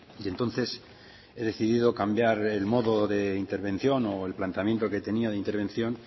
y entonces he decidido cambiar el modo de intervención o el planteamiento que tenía de intervención